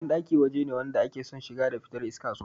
Banɗaki waje ne wanda ake son shiga da fitar iska sosai